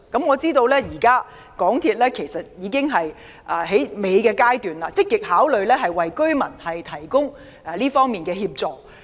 我知道，其實港鐵公司就此事的討論已達最後階段，正積極考慮為居民提供這方面的協助。